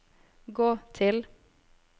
gå til